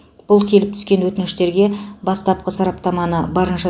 бұл келіп түскен өтініштерге бастапқы сараптаманы барынша